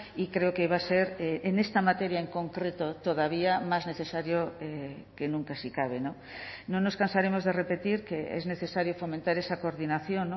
y creo que va a ser en esta materia en concreto todavía más necesario que nunca si cabe no nos cansaremos de repetir que es necesario fomentar esa coordinación